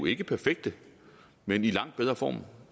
ikke perfekte men i langt bedre form